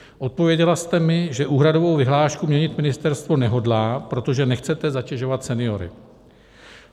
Odpověděla jste mi, že úhradovou vyhlášku měnit ministerstvo nehodlá, protože nechcete zatěžovat seniory.